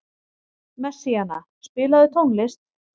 Messíana, spilaðu tónlist.